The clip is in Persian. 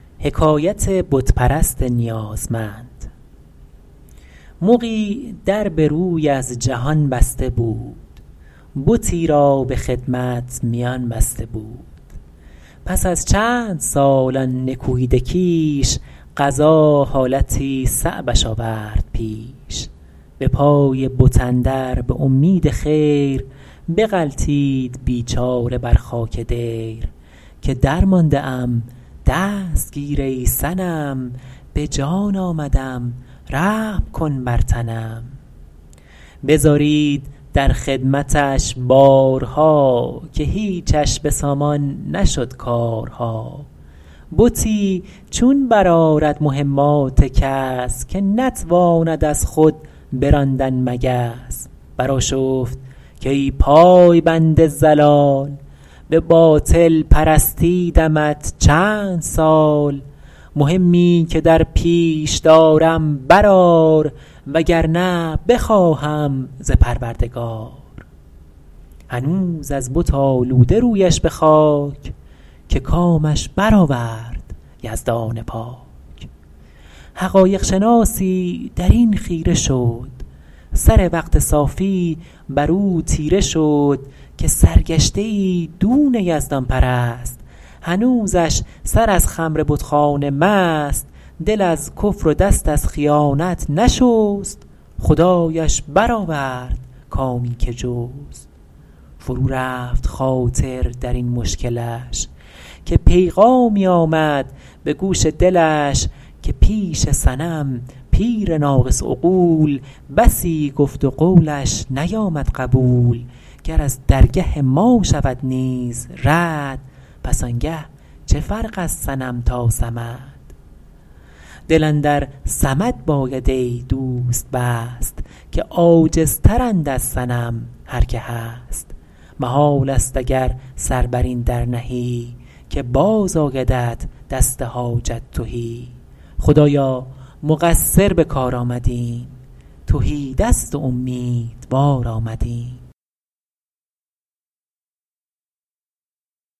مغی در به روی از جهان بسته بود بتی را به خدمت میان بسته بود پس از چندسال آن نکوهیده کیش قضا حالتی صعبش آورد پیش به پای بت اندر به امید خیر بغلتید بیچاره بر خاک دیر که درمانده ام دست گیر ای صنم به جان آمدم رحم کن بر تنم بزارید در خدمتش بارها که هیچش به سامان نشد کارها بتی چون برآرد مهمات کس که نتواند از خود براندن مگس برآشفت کای پای بند ضلال به باطل پرستیدمت چندسال مهمی که درپیش دارم برآر و گر نه بخواهم ز پروردگار هنوز از بت آلوده رویش به خاک که کامش برآورد یزدان پاک حقایق شناسی در این خیره شد سر وقت صافی بر او تیره شد که سرگشته ای دون یزدان پرست هنوزش سر از خمر بتخانه مست دل از کفر و دست از خیانت نشست خدایش برآورد کامی که جست فرو رفت خاطر در این مشکلش که پیغامی آمد به گوش دلش که پیش صنم پیر ناقص عقول بسی گفت و قولش نیامد قبول گر از درگه ما شود نیز رد پس آنگه چه فرق از صنم تا صمد دل اندر صمد باید ای دوست بست که عاجزتر اند از صنم هر که هست محال است اگر سر بر این در نهی که باز آیدت دست حاجت تهی خدایا مقصر به کار آمدیم تهی دست و امیدوار آمدیم